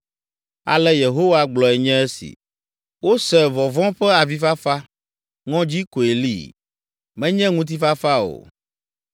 “Ale Yehowa gblɔe nye esi: “Wose vɔvɔ̃ ƒe avifafa, ŋɔdzi koe li, menye ŋutifafa o.